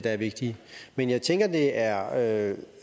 er vigtige men jeg tænker at er